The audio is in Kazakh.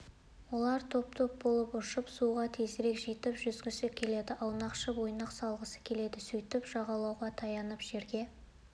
олар топ топ болып ұшып суға тезірек жетіп жүзгісі келеді аунақшып ойнақ салғысы келеді сөйтіп жағалауға таянып жерге